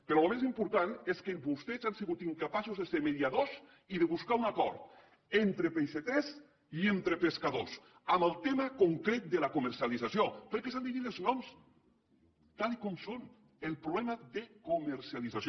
però el més important és que vostès han sigut incapaços de ser mediadors i de buscar un acord entre peixaters i entre pescadors en el tema concret de la comercialització perquè s’han de dir els noms tal com són el problema de comercialització